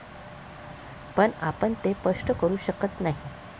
पण आपण ते स्पष्ट करू शकत नाही.